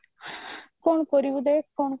କଣ କରିବୁ ଦେଖ କଣ